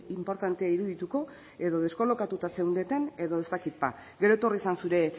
inportantea irudituko edo deskolokatuta zeundeten edo ez dakit ba gero etorri zen zure